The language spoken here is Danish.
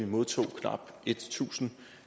modtog vi knap tusind